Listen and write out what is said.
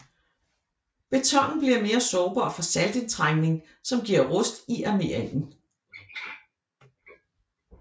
Betonen bliver mere sårbar for saltindtrængning som giver rust i armeringen